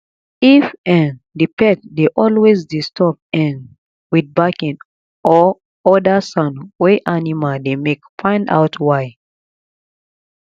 if um di pet dey always disturb um with barking or oda sound wey animal dey make find out why